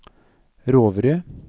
Roverud